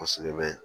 Kosɛbɛ bɛ